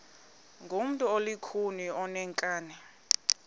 ngumntu olukhuni oneenkani